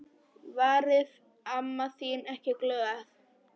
Varð amma þín ekki glöð?